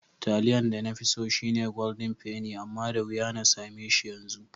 Taliyan da nafi so shine Golden penny amma da wuya na sameshi yanzu.